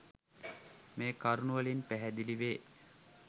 මේ කරුණු වලින් පැහැදිලිවේ.